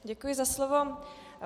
Děkuji za slovo.